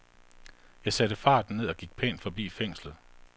Jeg satte farten ned og gik pænt forbi fængslet.